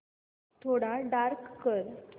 थोडा डार्क कर